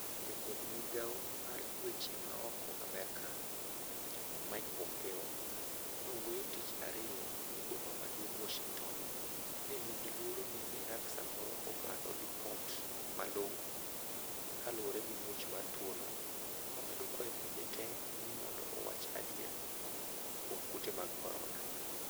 Jatend migao mar weche maoko Amerka, Mike Pompeo, nowuoyo tich ariyo ni Boma maduong' Washing'ton nenigi luoro ni Iran samoro opando lipot malong'o kaluore gi muoch mar tuo no, omedo kwayo pinje tee ni mondo owach adier kuom kute mag korona.